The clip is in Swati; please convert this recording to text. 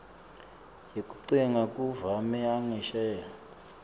yekutsenga kumave angesheya